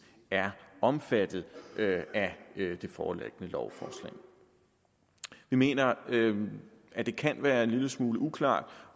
er omfattet af det foreliggende lovforslag vi mener at det kan være en lille smule uklart